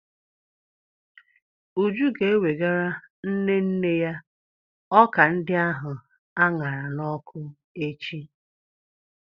Uju ga-ewegara nne nne ya ọka ndi ahu aṅara n'ọkụ echi.